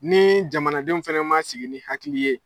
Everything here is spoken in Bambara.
Ni jamanadenw fɛnɛ man sigi ni hakili ye.